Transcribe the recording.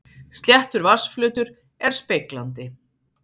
Sléttur vatnsflötur er speglandi.